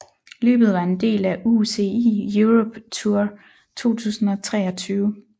Løbet var en del af UCI Europe Tour 2023